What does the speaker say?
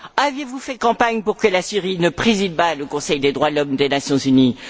Avez vous fait campagne pour que la Syrie ne préside pas le Conseil des droits de l'homme des Nations unies?